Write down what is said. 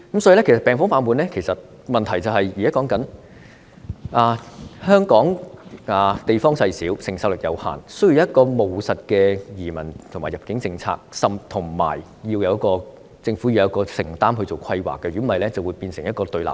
所以，現在說病房爆滿的問題，是因為香港地方細小，承受力有限，需要一項務實的移民和入境政策，政府亦要有承擔進行規劃，否則便會變成一個對立面。